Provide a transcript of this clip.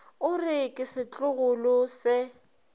o re ke setlogolo se